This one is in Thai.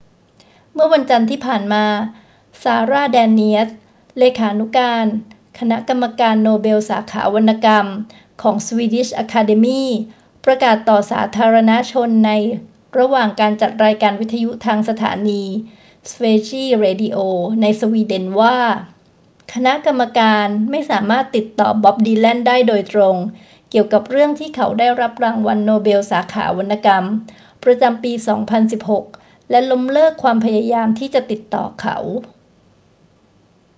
เมื่อวันจันทร์ที่ผ่านมา ซาร่า แดเนียส เลขานุการคณะกรรมการโนเบลสาขาวรรณกรรมของ swedish academy ประกาศต่อสาธารณชนในระหว่างการจัดรายการวิทยุทางสถานี sveriges radio ในสวีเดนว่า คณะกรรมการไม่สามารถติดต่อบ็อบ ดีแลนได้โดยตรงเกี่ยวกับเรื่องที่เขาได้รับรางวัลโนเบลสาขาวรรณกรรมประจำปี 2016 และล้มเลิกความพยายามที่จะติดต่อเขา